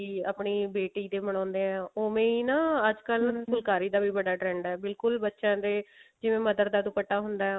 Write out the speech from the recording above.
ਵੀ ਆਪਣੀ ਬੇਟੀ ਦੇ ਬਣਾਉਂਦੇ ਹਾਂ ਓਵੇਂ ਹੀ ਨਾ ਅੱਜਕਲ ਫੁਲਕਾਰੀ ਦਾ ਬੜਾ trend ਹੈ ਬਿਲਕੁਲ ਬੱਚਿਆ ਦੇ ਜਿਵੇਂ mother ਦਾ ਦੁੱਪਟਾ ਹੁੰਦਾ